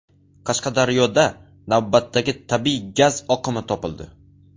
Qashqadaryoda navbatdagi tabiiy gaz oqimi topildi.